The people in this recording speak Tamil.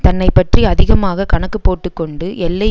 தன்னைப்பற்றி அதிகமாக கணக்கு போட்டு கொண்டு எல்லை